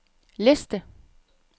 liste